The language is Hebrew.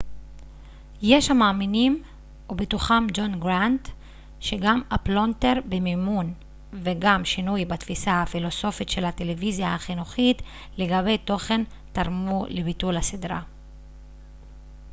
יש המאמינים ובתוכם ג'ון גראנט שגם הפלונטר במימון וגם שינוי בתפיסה הפילוסופית של הטלוויזיה החינוכית לגבי תוכן תרמו לביטול הסדרה